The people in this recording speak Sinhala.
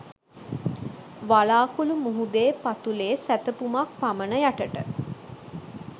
වලාකුළු මුහුදේ පතුලේ සැතපුමක් පමණ යටට